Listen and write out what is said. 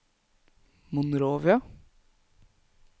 Monrovia